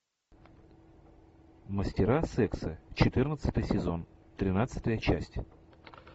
мастера секса четырнадцатый сезон тринадцатая часть